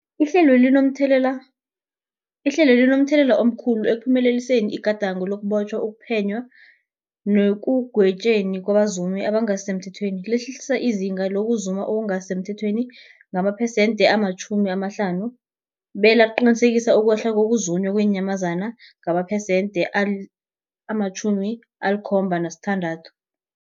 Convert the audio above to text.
Ihlelweli libe momthelela omkhulu ekuphumeleliseni igadango lokubotjhwa, ukuphenywa nekugwetjweni kwabazumi abangasisemthethweni, lehlisa izinga lokuzuma okungasi semthethweni ngamaphesenthe-50, belaqinisekisa ukwehla kokuzunywa kweenyamazana ngamaphesenthe-76.